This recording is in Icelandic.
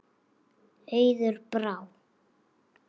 Auður Brá.